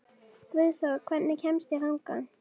Guðþór, hvernig kemst ég þangað?